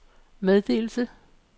meddelelse